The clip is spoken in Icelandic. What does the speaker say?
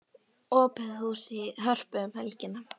Opið hús í Hörpu um helgina